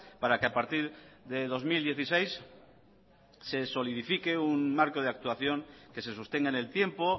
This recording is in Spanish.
para que a partir de dos mil dieciséis se solidifique un marco de actuación que se sostenga en el tiempo